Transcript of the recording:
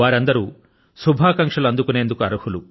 వారందరూ శుభాకాంక్షలు అందుకునేందుకు అర్హులు